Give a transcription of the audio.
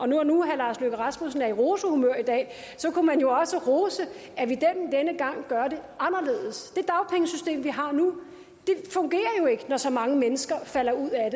når nu herre lars løkke rasmussen er i rosehumør i dag kunne man jo også rose at vi denne gang gør det anderledes det dagpengesystem vi har nu fungerer jo ikke når så mange mennesker falder ud af